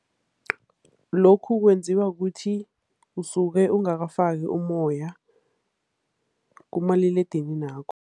Lokhu kwenziwa kukuthi usuke ungakafaki umoya kumaliledininakho.